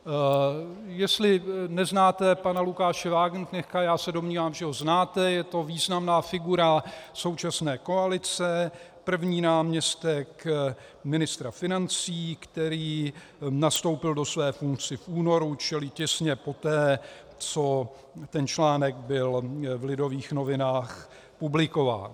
Jestli neznáte pana Lukáše Wagenknechta, já se domnívám, že ho znáte, je to významná figura současné koalice, první náměstek ministra financí, který nastoupil do své funkce v únoru, čili těsně poté, co ten článek byl v Lidových novinách publikován.